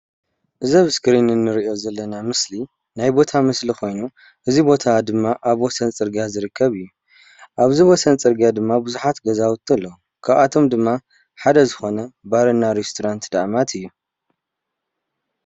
እዚ ኣብ እስክሪን ንርኦ ምስሊ ዘለና ናይ ቦታ ምስሊ ኮይኑ እዚ ቦታ ድማ ኣብ ወሰን ፅርግያ ዝርከብ እዩ ።እዚ ድማ ብዙሓት ገዛውቲ ኣለው ሓደ ካብኣቶም ድማ ባርና ሬስቶራንት ድአማት እዮ።